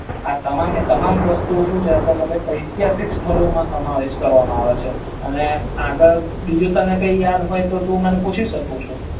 આ તમામે તમામ વસ્ત્રું સુ છે તો ભાઈ અતિહાસિક સ્થળો માં સમાવેશ કરવામાં આવે છે અને આગળ બીજું કઇ યાદ હોય તો તને હુ પૂછી સકું છુ